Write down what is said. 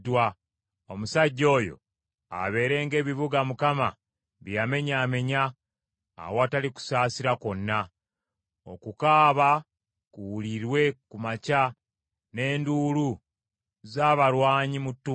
Omusajja oyo abeere ng’ebibuga Mukama bye yamenyaamenya awatali kusaasira kwonna. Okukaaba kuwulirwe ku makya, ne nduulu z’abalwanyi mu ttuntu.